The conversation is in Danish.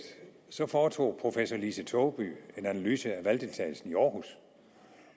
så foretog professor lise togeby en analyse af valgdeltagelsen i aarhus